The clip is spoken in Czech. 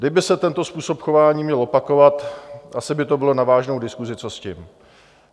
Kdyby se tento způsob chování měl opakovat, asi by to bylo na vážnou diskusi, co s tím.